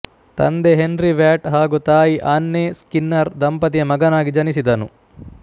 ತಂದೆ Henry Watt ಹಾಗು ತಾಯಿ ಆನ್ನೆ ಸ್ಕಿನ್ನರ್ ದಂಪತಿಯ ಮಗನಾಗಿ ಜನಿಸಿದನು